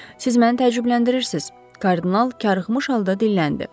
Siz məni təəccübləndirirsiniz, kardinal qarıxmış halda dilləndi.